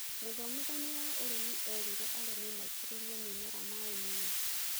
Mũthomithania wa ũrimĩ erĩire arĩmĩ maĩtĩririe mĩmera maaĩ mũno